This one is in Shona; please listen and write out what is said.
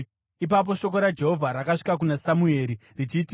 Ipapo shoko raJehovha rakasvika kuna Samueri richiti,